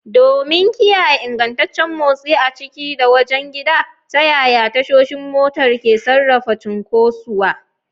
Domin kiyaye ingantaccen motsi a ciki da wajen gidan, ta yaya tashoshin motar ke sarrafa cunkosuwa?